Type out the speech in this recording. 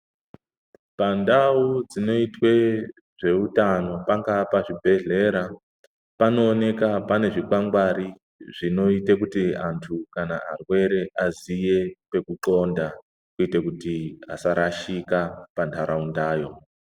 Pandau dzinoyitwe zveutano pangava pazvibhedhlera panowoneka pane zvikwangwari, zvinoyita kuti antu kana arwere aziye kwekunxonda kwete kuti asarashika pantarauntayo.